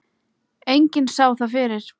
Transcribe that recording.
Enginn sá það fyrir.